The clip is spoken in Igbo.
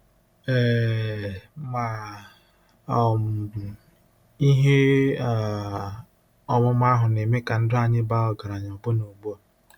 um Ma um ihe um ọmụma ahụ na-eme ka ndụ anyị baa ọgaranya ọbụna ugbu a.